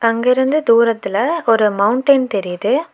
அங்கிருந்து தூரத்துல ஒரு மௌண்டைன் தெரியுது.